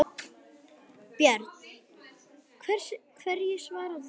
Björn: Hverju svarar þú því?